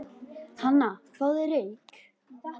Hana, fáðu þér reyk